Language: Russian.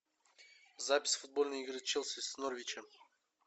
запись футбольной игры челси с норвичем